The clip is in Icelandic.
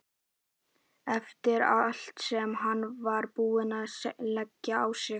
Eftir allt sem hann var búinn að leggja á sig!